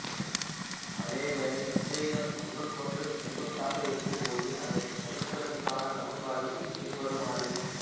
அதேவேளை விசைகள் ஒன்றுக்கொன்று செங்குத்தாக இருக்கும்போது அதைக் கணிப்பதற்கான சமன்பாடுகள் பின்வருமாறு